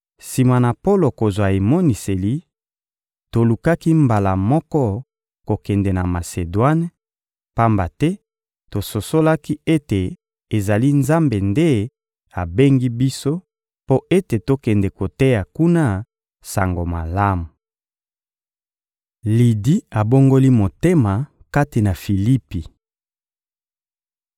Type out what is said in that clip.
Sima na Polo kozwa emoniseli, tolukaki mbala moko kokende na Masedwane, pamba te tososolaki ete ezali Nzambe nde abengi biso mpo ete tokende koteya kuna Sango Malamu. Lidi abongoli motema kati na Filipi